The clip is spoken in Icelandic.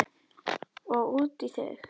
Og út í þig.